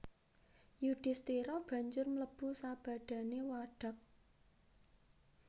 Yudhisthira banjur mlebu sabadané wadhag